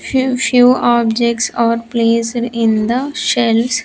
Few few objects are placed in the shells.